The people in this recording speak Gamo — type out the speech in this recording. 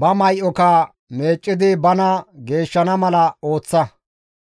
ba may7oka meeccidi bana geeshshana mala ooththa.